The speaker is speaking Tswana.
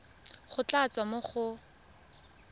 go tla tswa mo go